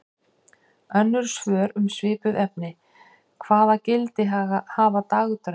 Önnur svör um svipuð efni: Hvaða gildi hafa dagdraumar?